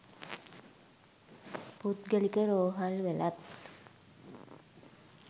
පුද්ගලික රෝහල්වලත්